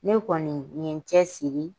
Ne kɔni n ye cɛsiri.